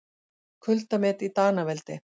Kuldamet í Danaveldi